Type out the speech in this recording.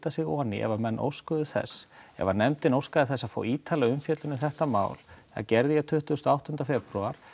sig inn í ef menn óskuðu þess ef nefndin óskaði þess að fá ítarlegar umfjöllun um þetta mál það gerði ég tuttugu og átta febrúar